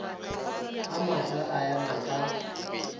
a mafsa a ema ka